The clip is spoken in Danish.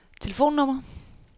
telefonnummer